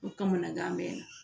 O kamanagan bɛ n na